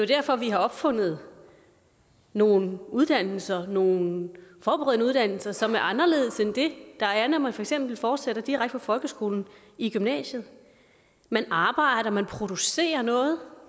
derfor at vi har opfundet nogle uddannelser nogle forberedende uddannelser som er anderledes end det der er når man for eksempel fortsætter direkte fra folkeskolen i gymnasiet man arbejder man producerer noget